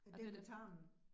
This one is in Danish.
Er det den med tarmen?